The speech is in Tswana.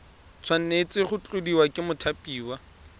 tshwanetse go tladiwa ke mothapiwa